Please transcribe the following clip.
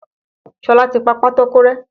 Ṣọlá ti pa pátákó rẹ́.